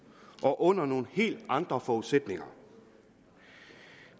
og under nogle helt andre forudsætninger